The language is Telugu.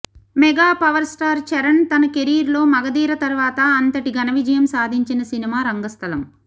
మెగా పవర్ స్టార్ చరణ్ తన కెరీర్లో మగధీర తర్వాత అంతటి ఘన విజయం సాదించిన సినిమా రంగస్థలం